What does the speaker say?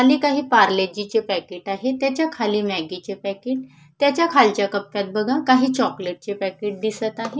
खाली काही पार्लेजीचे पॅकेट आहेत त्याच्या खाली मॅगीचे पॅकेट त्याच्या खालच्या कप्प्यात बघा काही चॉकलेटचे पॅकेट दिसत आहे.